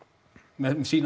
með sína